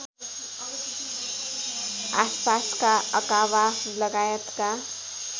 आसपासका अकाबा लगायतका